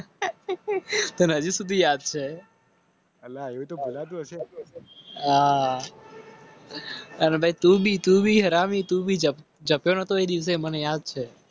હજી સુધી યાદ છેઆહવે તુંમને યાદ છે